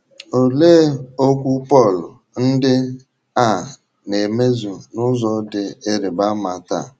Olee okwu Pọl ndị a na - emezu n’ụzọ dị ịrịba ama taa?